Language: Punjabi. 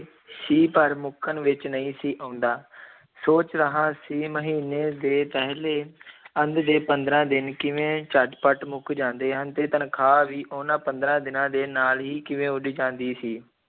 ਸੀ ਪਰ ਮੁੱਕਣ ਵਿੱਚ ਨਹੀਂ ਸੀ ਆਉਂਦਾ ਸੋਚ ਰਿਹਾ ਸੀ ਮਹੀਨੇ ਦੇ ਪਹਿਲੇ ਅੱਧ ਦੇ ਪੰਦਰਾਂ ਦਿਨ ਕਿਵੇਂ ਝੱਟ-ਪੱਟ ਮੁਕ ਜਾਂਦੇ ਹਨ ਤੇ ਤਨਖ਼ਾਹ ਵੀ ਉਹਨਾਂ ਪੰਦਰਾਂ ਦਿਨਾਂ ਦੇ ਨਾਲ ਹੀ ਕਿਵੇਂ ਉੱਡ ਜਾਂਦੀ ਸੀ।